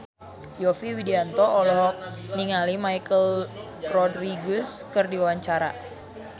Yovie Widianto olohok ningali Michelle Rodriguez keur diwawancara